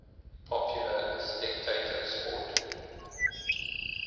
popular spectator sport